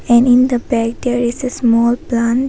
And in the back there is a small plant.